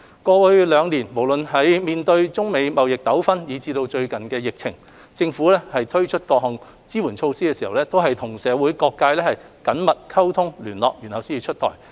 過去兩年，無論面對中美貿易糾紛以至應對疫情，政府推出的各項支援措施在出台前，均先行與社會各界進行緊密溝通、聯絡。